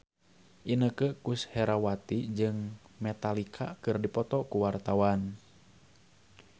Inneke Koesherawati jeung Metallica keur dipoto ku wartawan